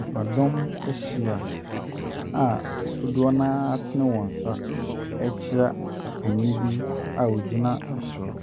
Nnipadɔm ahyia a dodoɔ noa atene wɔn nsa ɛrekyia ɔpanyin bi a ɔgyina ɛsoro.